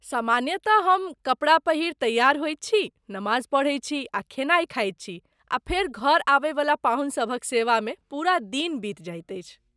सामान्यतः हम कपड़ा पहिरि तैयार होइत छी, नमाज पढ़ैत छी आ खेनाइ खाइत छी आ फेर घर आबयवला पाहुनसभक सेवामे पूरा दिन बीति जाइत अछि।